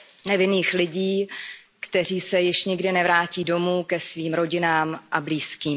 Nevinných lidí, kteří se již nikdy nevrátí domů ke svým rodinám a blízkým.